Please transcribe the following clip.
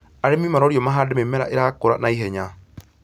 Arĩmi marorio mahande mĩmera irakũra naihenya